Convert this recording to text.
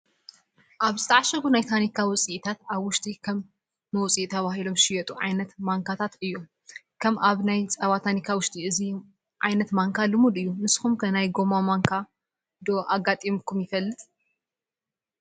ኣብ ዝተዓሸጉ ናይ ታኒካ ውፅኢታት ኣብ ውሽጢ ከም መውፅኢ ተባሂሎም ዝሽየጡ ዓይነታት ማንካ እዮም፡፡ ከም ኣብ ናይ ፀባ ታኒካ ውሽጢ እዚ ዓይነት ማንካ ልሙድ እዩ፡፡ ንስኹም ከ ናይ ጎማ ማንካ ዶ ኣጋጢሙኩም ይፈልጥ?